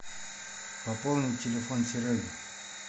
пополнить телефон сереги